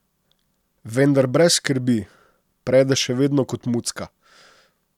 Vendar brez skrbi, prede še vedno kot mucka.